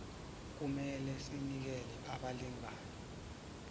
kumele sinikele abalingani